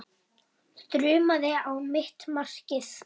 Þrumaði á mitt markið.